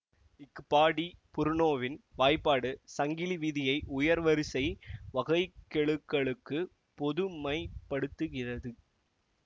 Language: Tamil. ஃபா டி புருனோவின் வாய்ப்பாடு சங்கிலி வீதியை உயர்வரிசை வகைக்கெழுக்களுக்கு பொதுமைப்படுத்துகிறது